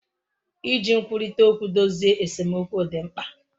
Iji nkwurita okwu dozie esemokwu di mkpa.